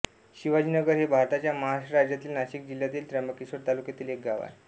शिवाजीनगर हे भारताच्या महाराष्ट्र राज्यातील नाशिक जिल्ह्यातील त्र्यंबकेश्वर तालुक्यातील एक गाव आहे